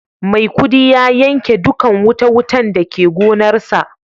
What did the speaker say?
Maikudi ya yanke dukan wuta-wutan da ke gonarsa.